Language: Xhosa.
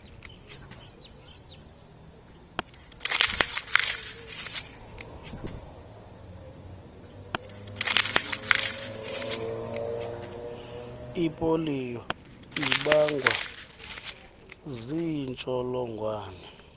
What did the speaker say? ipoliyo ibangwa ziintsholongwane